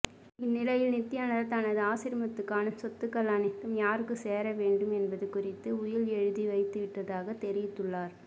இந்நிலையில் நித்யானந்தா தனது ஆசிரமத்துக்கான சொத்துக்கள் அனைத்தும் யாருக்கு சேர வேண்டும் என்பது குறித்து உயில் எழுதி வைத்துவிட்டதாக தெரிவித்துள்ளார்